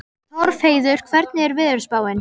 Torfheiður, hvernig er veðurspáin?